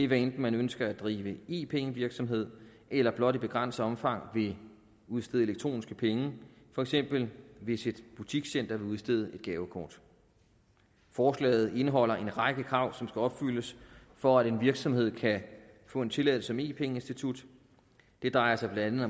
hvad enten man ønsker at drive e penge virksomhed eller blot i begrænset omfang vil udstede elektroniske penge for eksempel hvis et butikscenter vil udstede et gavekort forslaget indeholder en række krav som skal opfyldes for at en virksomhed kan få en tilladelse som e penge institut det drejer sig blandt